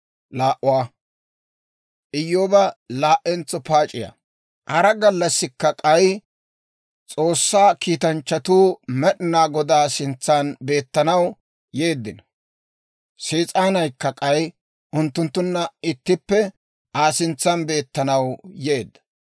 Hara gallassikka k'ay S'oossaa kiitanchchatuu Med'inaa Godaa sintsan beettanaw yeeddino; Sees'aanaykka k'ay unttunttunna ittippe Aa sintsan beettanaw yeedda.